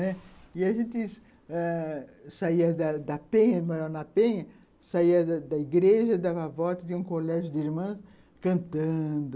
E a gente ãh saía da da penha, saía da da igreja, dava a volta de um colégio de irmãs, cantando...